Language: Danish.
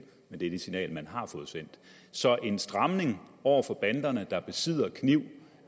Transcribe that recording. men det er det signal man har fået sendt så en stramning over for banderne der besidder kniv